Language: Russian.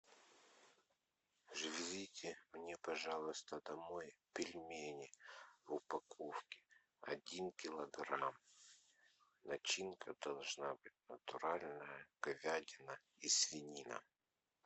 завезите мне пожалуйста домой пельмени в упаковке один килограмм начинка должна быть натуральная говядина и свинина